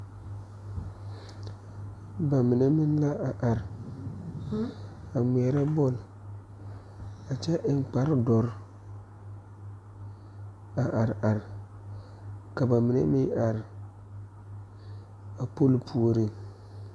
Ba mine meŋ la a are a ngmeɛrɛ bɔl a kyɛ eŋ kpare dɔre a are are ka ba mine meŋ are a polo puoriŋ.